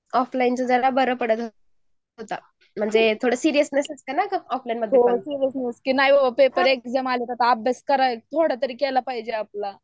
offline ते बरं पडतं होतं म्हणजे थोडं सिरियसन्स असते ना थोडं ऑफलाईन मध्ये हो करेक्ट आता थोडा तरी अभ्यास केला पाहिजे आपला